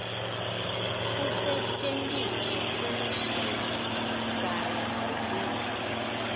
kusentjentiswa kwemishini wekugaya ummbila